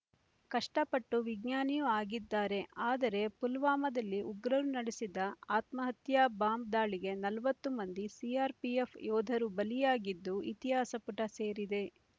ಕಷ್ಟಪಟ್ಟು ವಿಜ್ಞಾನಿಯೂ ಆಗಿದ್ದಾರೆ ಆದರೆ ಪುಲ್ವಾಮದಲ್ಲಿ ಉಗ್ರರು ನಡೆಸಿದ ಆತ್ಮಹತ್ಯಾ ಬಾಂಬ್ ದಾಳಿಗೆ ನಲವತ್ತು ಮಂದಿ ಸಿಆರ್‌ಪಿಎಫ್ ಯೋಧರು ಬಲಿಯಾಗಿದ್ದು ಇತಿಹಾಸದ ಪುಟ ಸೇರಿದೆ